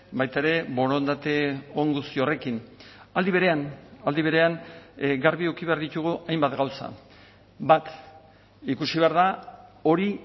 baita ere borondate on guzti horrekin aldi berean aldi berean garbi eduki behar ditugu hainbat gauza bat ikusi behar da hori